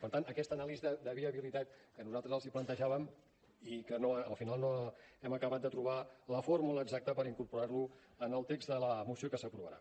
per tant aquesta anàlisi de viabilitat que nosaltres els plantejàvem i que al final no hem acabat de trobar la fórmula exacta per incorporar lo en el text de la moció que s’aprovarà